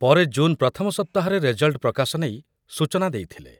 ପରେ ଜୁନ୍ ପ୍ରଥମ ସପ୍ତାହରେ ରେଜଲ୍ଟ ପ୍ରକାଶ ନେଇ ସୂଚନା ଦେଇଥିଲେ।